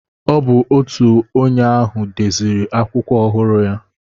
Ọ bụ otu onye ahụ deziri akwụkwọ ọhụrụ ya.